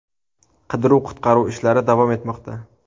Qidiruv-qutqaruv ishlari davom etmoqda.